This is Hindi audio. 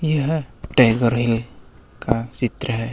यह टाइगर हील का चित्र है.